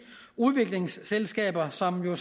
udviklingsselskaber som jo